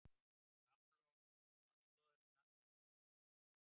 Framlög til aðstoðarinnar koma víða